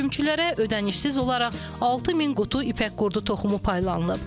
Kümçülərə ödənişsiz olaraq 6000 qutu ipək qurudu toxumu paylanılıb.